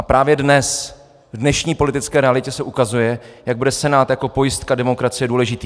A právě dnes, v dnešní politické realitě, se ukazuje, jak bude Senát jako pojistka demokracie důležitý.